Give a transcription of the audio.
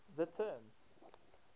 the term